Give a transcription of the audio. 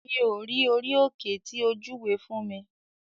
Mi ò rí orí òkè tí o júwe fún mi.